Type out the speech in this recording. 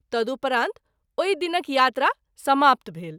तदुपरांत ओहि दिनक यात्रा समाप्त भेल।